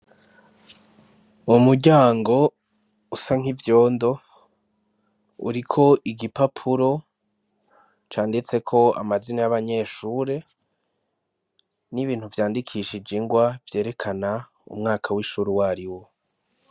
Mu mujyango usa nk'ivyondo uriko igipapuro canditseko amazina y'abanyeshure n'ibintu vyandikishije ingwa vyerekana umwaka w'ishure uwariwo.